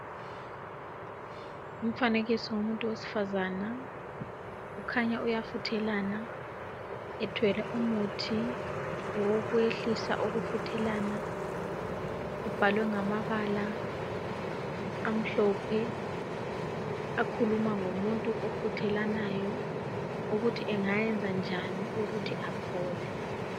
Umfanekiso womuntu wesifazana kukhanya uyafuthelana ethwele umuthi wokwehlisa ukufuthelana ubhalwe ngamabala amhlophe akhuluma ngomuntu ofuthelanayo ukuthi angayenza njani ukuthi aphole.